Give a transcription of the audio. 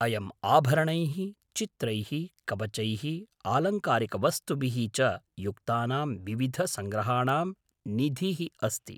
अयम् आभरणैः, चित्रैः, कवचैः, आलङ्कारिकवस्तुभिः च युक्तानां विविधसङ्ग्रहाणां निधिः अस्ति।